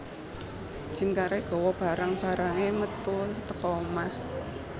Jim Carrey gawa barang barange metu teko omah